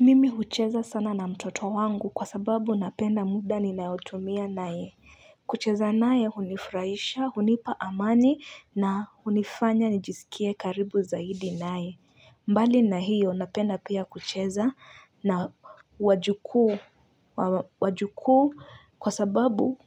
Mimi hucheza sana na mtoto wangu kwa sababu napenda muda ninaotumia nae kucheza naye hunifraisha hunipa amani na hunifanya nijisikie karibu zaidi naye mbali na hiyo napenda pia kucheza na wajuku kwa sababu